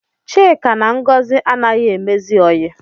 Chika na Ngọzi anaghị emezi oyi